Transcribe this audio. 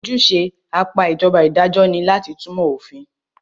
Ojúṣe apá ìjọba idajọ́ ní láti túnmọ̀ òfin.